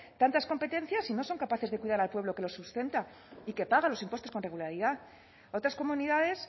tantas competencias y no son capaces de cuidar al pueblo que los sustenta y que pagan los impuestos con regularidad otras comunidades